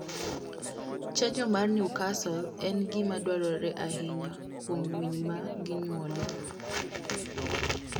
Chanjo mar Newcastle en gima dwarore ahinya kuom winy ma ginyuolo.